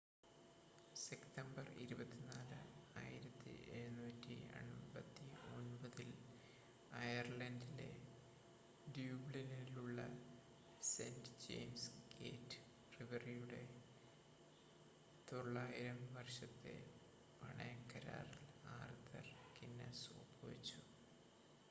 September 24 1759 ൽ അയർലണ്ടിലെ ഡ്യൂബ്ലിനിലുള്ള സെൻ്റ് ജയിംസ് ഗേറ്റ് ബ്രിവറിയുടെ 9,000 വർഷത്തെ പണയക്കരാറിൽ ആർതർ ഗിന്നസ് ഒപ്പുവെച്ചു